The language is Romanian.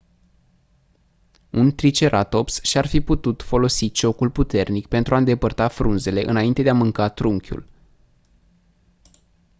un triceratops și-ar fi putut folosi ciocul puternic pentru a îndepărta frunzele înainte de a mânca trunchiul